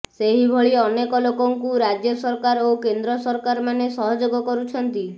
ସେହିଭଳି ଅନେକ ଲୋକଙ୍କୁ ରାଜ୍ୟ ସରକାର ଓ କେନ୍ଦ୍ର ସରକାର ମାନେ ସହଯୋଗ କରୁଛନ୍ତି